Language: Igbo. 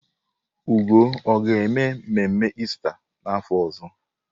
Ugo ọ ga-eme mmemme Ista n'afọ ọzọ?